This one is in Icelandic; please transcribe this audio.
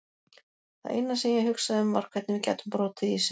Það eina sem ég hugsaði um var hvernig við gætum brotið ísinn.